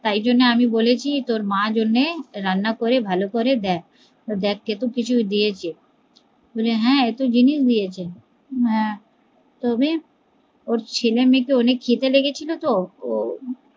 তাই জন্যই আমি বলেছি তোর মার্ জন্যে রান্না করে ভালো করে দে, তেখ কেত কিছু দিয়েছে বলে হ্যা এত জিনিস দিয়েছে হা তবে ওর ছেলে মেয়ে অনেক খিদে লেগেছিলো তো ওর